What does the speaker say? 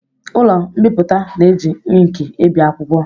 Ụlọ mbipụta na-eji inki ebi akwụkwọ